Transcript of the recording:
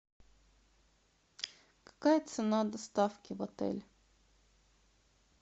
какая цена доставки в отель